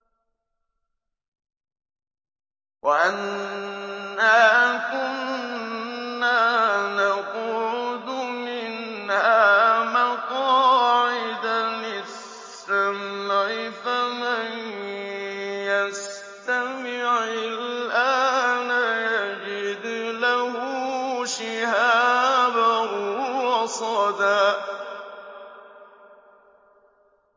وَأَنَّا كُنَّا نَقْعُدُ مِنْهَا مَقَاعِدَ لِلسَّمْعِ ۖ فَمَن يَسْتَمِعِ الْآنَ يَجِدْ لَهُ شِهَابًا رَّصَدًا